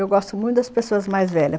Eu gosto muito das pessoas mais velhas.